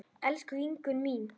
Elsku Ingunn mín.